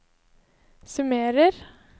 summerer